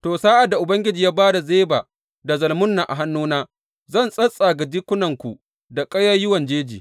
To, sa’ad da Ubangiji ya ba da Zeba da Zalmunna a hannuna, zan tsattsaga jikinku da ƙayayyuwan jeji.